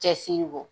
Cɛsiri kɔ